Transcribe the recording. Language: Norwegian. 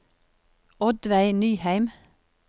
Oddveig Nyheim